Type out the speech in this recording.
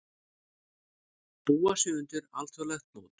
Búa sig undir alþjóðlegt mót